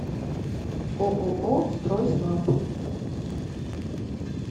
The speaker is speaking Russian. ооо стройснаб